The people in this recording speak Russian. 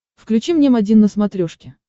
включи мне м один на смотрешке